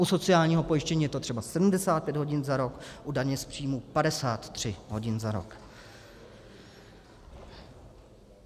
U sociálního pojištění je to třeba 75 hodin za rok, u daně z příjmů 53 hodin za rok.